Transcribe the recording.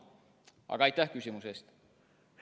Aga aitäh küsimuse eest!